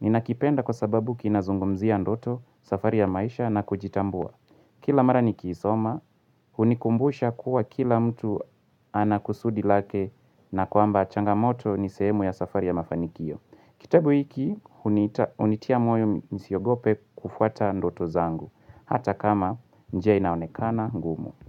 Ninakipenda kwa sababu kinazungumzia ndoto safari ya maisha na kujitambua. Kila mara nikisoma, hunikumbusha kuwa kila mtu anakusudi lake na kwamba changamoto ni sehemu ya safari ya mafanikio. Kitabu hiki huniita hunitia moyo nisiogope kufuata ndoto zangu, hata kama njia inaonekana ngumu.